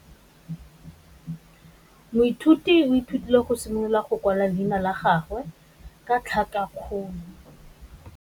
Moithuti o ithutile go simolola go kwala leina la gagwe ka tlhakakgolo.